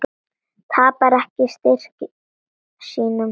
Tapar ekki styrk sínum.